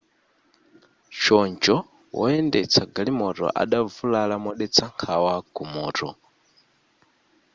choncho woyendetsa galimoto adavulala modetsa nkhawa ku mutu